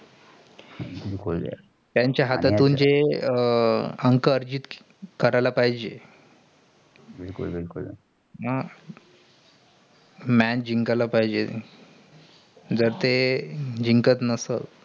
त्याचा हातातून जे अंक अरिजित कार्याला पाहिजेय बिलकुल बिलकुल match जिकायला पाहिजेय. जर ते जिंकत नसेल.